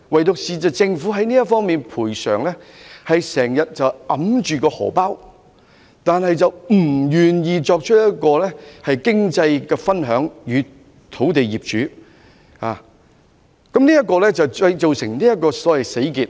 只是政府在賠償方面一直過於"手緊"，不願意與土地擁有人分享經濟成果，以致出現一個所謂"死結"。